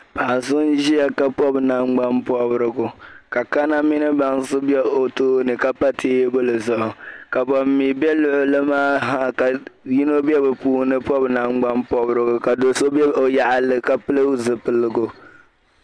paɣa so n-ʒia ka pɔbi nangbampɔbirigu ka kaname ni bansi be o tooni ka pa teebuli zuɣu ka ban mi be luɣili maa ha ka yino be bɛ puuni pɔbi nangbampɔbirigu ka do' so be o yaɣili ka pili zipiligu